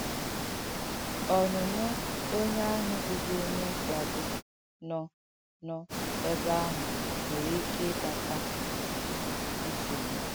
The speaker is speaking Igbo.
Ọ̀nụ́nọ̀ onye àhụ̀ bụ̀bụ̀ onye mkpàgbù nọ̀ nọ̀ ebe àhụ̀ nwèrē ìkẹ ìkpàtà nsọ̀gbụ.